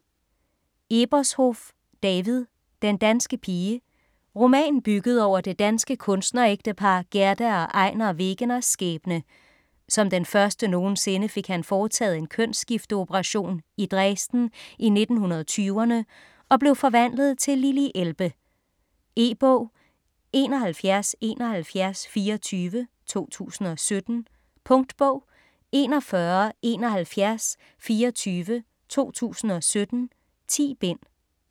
Ebershoff, David: Den danske pige Roman bygget over det danske kunstnerægtepar Gerda og Einar Wegeners skæbne. Som den første nogensinde fik han foretaget en kønsskifteoperation, i Dresden i 1920'erne, og blev forvandlet til Lili Elbe. E-bog 717124 2017. Punktbog 417124 2017. 10 bind.